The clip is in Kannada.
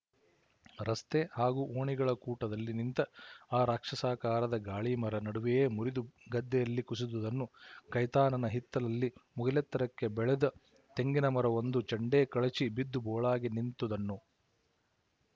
ರಸ್ತೆ ಹಾಗೂ ಓಣಿಗಳ ಕೂಟದಲ್ಲಿ ನಿಂತ ಆ ರಾಕ್ಷಸಾಕಾರದ ಗಾಳಿಮರ ನಡುವೆಯೇ ಮುರಿದು ಗದ್ದೆಯಲ್ಲಿ ಕುಸಿದುದನ್ನು ಕೈತಾನನ ಹಿತ್ತಲಲ್ಲಿ ಮುಗಿಲೆತ್ತರಕ್ಕೆ ಬೆಳೆದ ತೆಂಗಿನಮರವೊಂದು ಚಂಡೇ ಕಳಚಿ ಬಿದ್ದು ಬೋಳಾಗಿ ನಿಂತುದನ್ನು